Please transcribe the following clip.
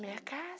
A minha casa...